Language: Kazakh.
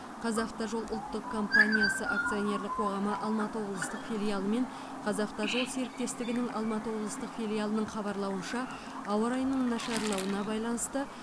қазавтожол ұлттық компаниясы акционерлік қоғамы алматы облыстық филиалы мен қазавтожол серіктестігінің алматы облыстық филиалының хабарлауынша ауа райының нашарлауына байланысты